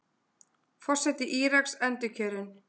Forseti Íraks endurkjörinn